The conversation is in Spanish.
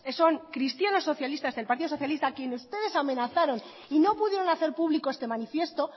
son cristianos socialistas del partido socialista a quien ustedes amenazaron y no pudieron hacer público este manifiesto